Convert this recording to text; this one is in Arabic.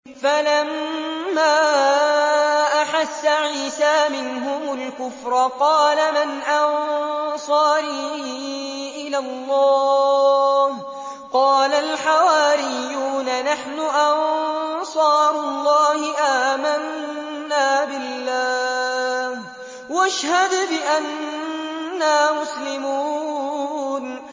۞ فَلَمَّا أَحَسَّ عِيسَىٰ مِنْهُمُ الْكُفْرَ قَالَ مَنْ أَنصَارِي إِلَى اللَّهِ ۖ قَالَ الْحَوَارِيُّونَ نَحْنُ أَنصَارُ اللَّهِ آمَنَّا بِاللَّهِ وَاشْهَدْ بِأَنَّا مُسْلِمُونَ